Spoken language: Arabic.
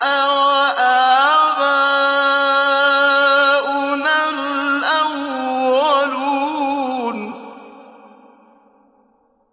أَوَآبَاؤُنَا الْأَوَّلُونَ